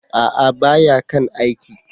A'a! ba ya kan aiki.